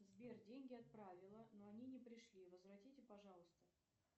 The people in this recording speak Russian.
сбер деньги отправила но они не пришли возвратите пожалуйста